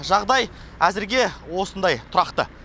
жағдай әзірге осындай тұрақты